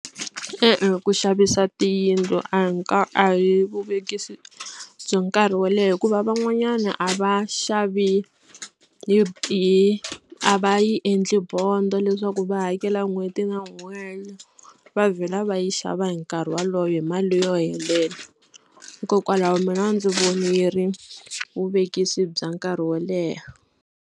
E-e ku xavisa tiyindlu a hi a hi vuvekisi bya nkarhi wo leha hikuva van'wanyana a va xavi hi a va yi endli bond-o leswaku va hakela n'hweti na n'hweti va vhela va yi xava hi nkarhi wolowo hi mali yo helela hikokwalaho mina a ndzi voni yi ri vuvekisi bya nkarhi wo leha.